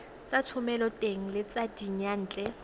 tsa thomeloteng le tsa diyantle